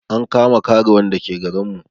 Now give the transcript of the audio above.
An kama karuwan da ke garin mu